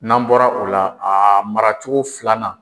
N'an bɔra o la a mara cogo filanan.